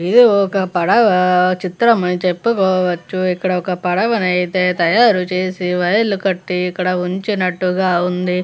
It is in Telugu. ఇది ఒక పడవ చిత్రం అయితే చెప్పుకోవచ్చు ఇక్కడైతే ఒక పాడవ తయారు చేసి వైర్లు కట్టి అక్కడ ఉంచినట్టుగా ఉంది.